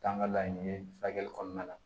Taa ŋa laɲini furakɛli kɔnɔna na